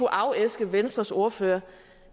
afæske venstres ordfører